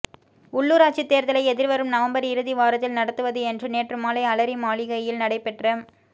உள்ளூராட்சி தேர்தலை எதிர்வரும் நவம்பர் இறுதி வாரத்தில் நடத்துவது என்று நேற்று மாலை அலரி மாளிகையில் நடைபெற்ற